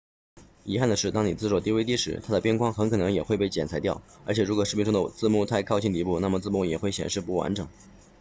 遗憾的是当你制作 dvd 时它的边框很可能也会被裁剪掉而且如果视频中的字幕太靠近底部那么字幕也会显示不完整